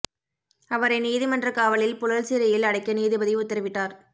அவரை நீதிமன்ற காவலில் புழல் சிறையில் அடைக்க நீதிபதி உத்தரவிட்டார்